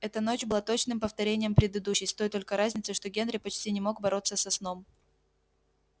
эта ночь была точным повторением предыдущей с той только разницей что генри почти не мог бороться со сном